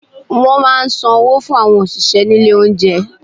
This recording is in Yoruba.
Wọ́n máa ń san owó fún àwọn òṣìṣẹ́ ní ilé oúnjẹ.